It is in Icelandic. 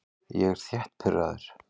Ég er þétt pirraður.